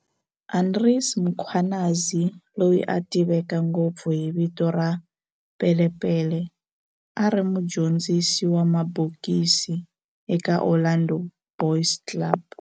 Andries Mkhwanazi, loyi a tiveka ngopfu hi vito ra Pele Pele, a ri mudyondzisi wa mabokisi eka Orlando Boys Club.